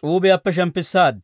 s'uubiyaappe shemppissaad.